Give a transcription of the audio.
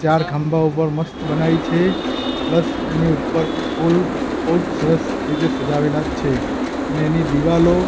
ચાર ખંભા ઉપર મસ્ત બનાવી છે પ્લસ એની ઉપર ફુલ બૌજ સરસ રીતે સજાવેલા છે ને એની દિવાલો--